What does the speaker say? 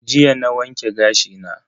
Jiya na wanke gashi na.